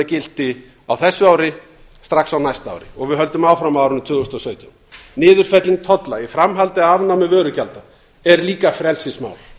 gilti á þessu ári strax á næsta ári og við höldum áfram á árinu tvö þúsund og sautján niðurfelling tolla í framhaldi af afnámi vörugjalda er líka frelsismál